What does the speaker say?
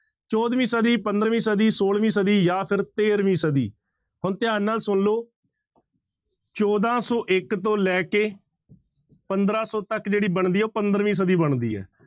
ਚੌਦਵੀਂ ਸਦੀ ਪੰਦਰਵੀਂ ਸਦੀ ਛੋਲਵੀਂ ਸਦੀ ਜਾਂ ਫਿਰ ਤੇਰਵੀਂ ਸਦੀ ਹੁਣ ਧਿਆਨ ਨਾਲ ਸੁਣ ਲਓ ਚੌਦਾਂ ਸੌ ਇੱਕ ਤੋਂ ਲੈ ਕੇ ਪੰਦਰਾਂ ਸੌ ਤੱਕ ਜਿਹੜੀ ਬਣਦੀ ਹੈ ਉਹ ਪੰਦਰਵੀਂ ਸਦੀ ਬਣਦੀ ਹੈ।